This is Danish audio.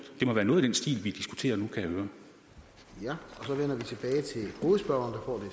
det må være noget i den stil vi diskuterer nu kan jeg høre